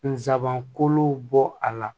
Nsabanko bɔ a la